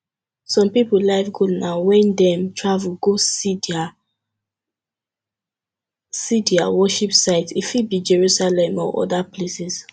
some pipo life goal na when dem travel go see their see their worship site e fit be jerusalem or oda places